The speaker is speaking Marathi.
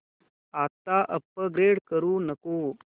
आता अपग्रेड करू नको